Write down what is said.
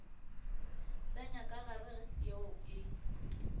tsenya ka gare yeo e